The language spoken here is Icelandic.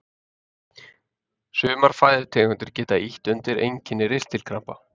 Sumar fæðutegundir geta ýtt undir einkenni ristilkrampa.